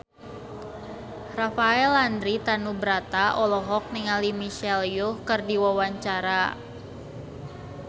Rafael Landry Tanubrata olohok ningali Michelle Yeoh keur diwawancara